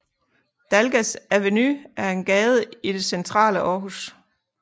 Dalgas Avenue er en gade i det centrale Aarhus